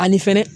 Ani fɛnɛ